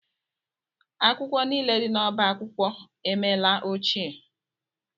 Akwụkwọ niile dị n'ọbá akwụkwọ emela ochie.